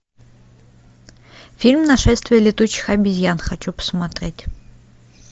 фильм нашествие летучих обезьян хочу посмотреть